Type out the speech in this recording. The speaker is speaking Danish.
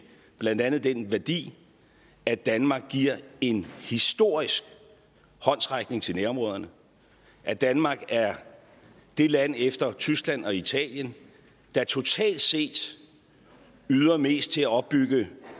blandt andet den værdi at danmark giver en historisk håndsrækning til nærområderne at danmark er det land efter tyskland og italien der totalt set yder mest til at opbygge